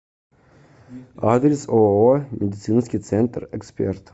адрес ооо медицинский центр эксперт